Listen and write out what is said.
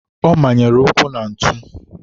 ọ manyere ụkwụ na ntụ.